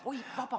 Oi, vabandust!